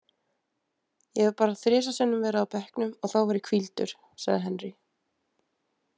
Ég hef bara þrisvar sinnum verið á bekknum og þá var ég hvíldur, sagði Henry.